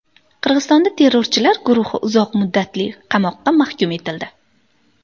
Qirg‘izistonda terrorchilar guruhi uzoq muddatli qamoqqa mahkum etildi.